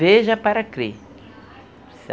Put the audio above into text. Veja para crer.